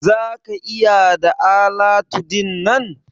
Za ka iya da alatu dinnan?